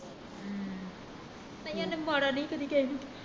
ਹਮ ਨਹੀਂ ਉਹਨੇ ਮਾੜਾ ਨਹੀਂ ਸੀ ਕਦੀ ਕਿਸੇ ਨੂੰ